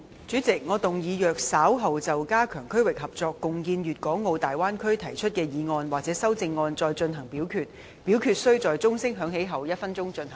主席，我動議若稍後就"加強區域合作，共建粵港澳大灣區"所提出的議案或修正案再進行點名表決，表決須在鐘聲響起1分鐘後進行。